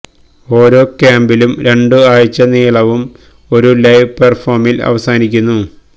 ഓരോ ക്യാമ്പിലും രണ്ടു ആഴ്ച നീളവും ഒരു ലൈവ് പെർഫോമിൽ അവസാനിക്കുന്നു